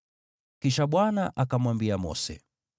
Kisha Bwana akamwambia Mose,